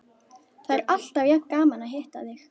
Það er alltaf jafn gaman að hitta þig.